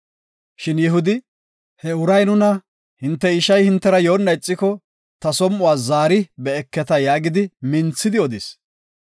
Shin Yihudi, “He uray nuna, ‘Hinte ishay hintera yoona ixiko, ta som7uwa zaari be7eketa’ yaagidi minthidi odis.